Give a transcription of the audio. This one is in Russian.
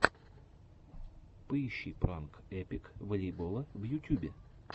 поищи пранк эпик волейбола в ютюбе